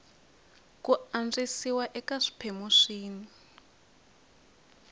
ku antswisiwa eka swiphemu swin